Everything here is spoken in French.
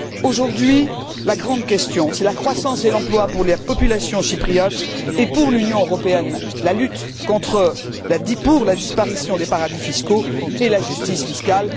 Aujourd'hui, la grande question, c'est la croissance et l'emploi pour la population chypriote et, pour l'Union européenne, la lutte pour la disparition des paradis fiscaux et la justice fiscale.